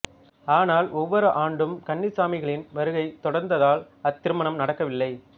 ஆனால் ஒவ்வொரு ஆண்டும் கன்னிச் சாமிகளின் வருகை தொடர்ந்ததால் அத்திருமணம் நடக்கவில்லை